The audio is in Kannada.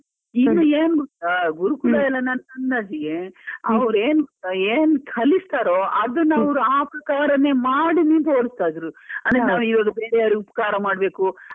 ಈಗಏನ್ ಗೊತ್ತಾ? ಗುರುಕುಲ ನನ್ ಅಂದಾಜಿಗೆ, ಅವ್ರ್ ಏನ್ ಏನ್ ಕಲಿಸ್ತಾರೋ ಅದನ್ನೇ ಅವ್ರು ಆ ಪ್ರಕಾರನೇ ಮಾಡೀನೆ ತೋರಿಸ್ತಾ ಇದ್ರು ಅದೇ ನಾವು ಗೆಳೆಯರಿಗೆ ಉಪಕಾರ ಮಾಡ್ಬೇಕು